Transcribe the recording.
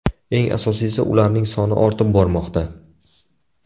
Eng asosiysi, ularning soni ortib bormoqda.